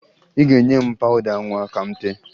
Ị ga-enye m pawụda nwa ka m tee